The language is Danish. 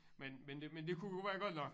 Men men det men det kunne være godt nok